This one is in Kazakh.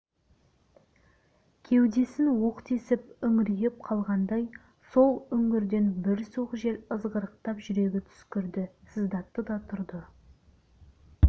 кеудесін оқ тесіп үңірейіп қалғандай сол үңгірден бір суық жел ызғырықтап жүрегі түскірді сыздатты да тұрды